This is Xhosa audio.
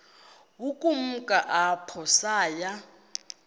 ukumka apho saya